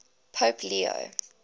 pope leo